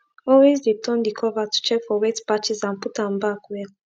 always de turn de cover to check for wet patches and put am back well